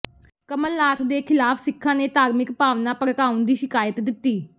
ਕਮਲਨਾਥ ਦੇ ਖਿਲਾਫ ਸਿੱਖਾਂ ਨੇ ਧਾਰਮਿਕ ਭਾਵਨਾ ਭੜਕਾਉਣ ਦੀ ਸ਼ਿਕਾਇਤ ਦਿੱਤੀ